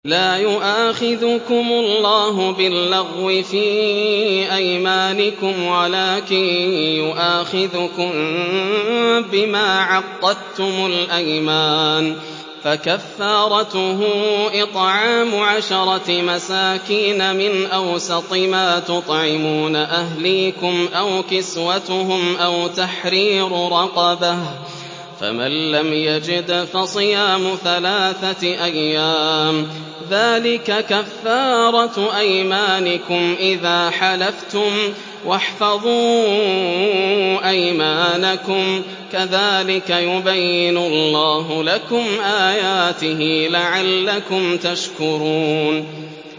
لَا يُؤَاخِذُكُمُ اللَّهُ بِاللَّغْوِ فِي أَيْمَانِكُمْ وَلَٰكِن يُؤَاخِذُكُم بِمَا عَقَّدتُّمُ الْأَيْمَانَ ۖ فَكَفَّارَتُهُ إِطْعَامُ عَشَرَةِ مَسَاكِينَ مِنْ أَوْسَطِ مَا تُطْعِمُونَ أَهْلِيكُمْ أَوْ كِسْوَتُهُمْ أَوْ تَحْرِيرُ رَقَبَةٍ ۖ فَمَن لَّمْ يَجِدْ فَصِيَامُ ثَلَاثَةِ أَيَّامٍ ۚ ذَٰلِكَ كَفَّارَةُ أَيْمَانِكُمْ إِذَا حَلَفْتُمْ ۚ وَاحْفَظُوا أَيْمَانَكُمْ ۚ كَذَٰلِكَ يُبَيِّنُ اللَّهُ لَكُمْ آيَاتِهِ لَعَلَّكُمْ تَشْكُرُونَ